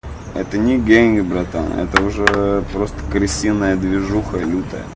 это не деньги братан это уже просто кристина и движуха илютая